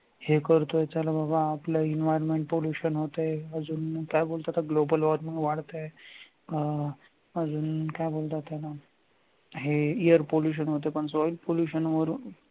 हे करतोय त्याला बाबा आपलं environment pollution होतय अजून काय बोलतात global warming वाटतय अजून काय बोलतात त्याला हे air pollution होतोय पण पण soil pollution वरून